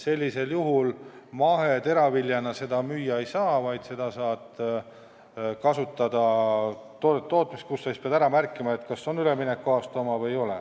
Sellisel juhul sa oma toodangut maheteraviljana müüa ei saa, vaid pead ära märkima, kas see on üleminekuaasta oma või ei ole.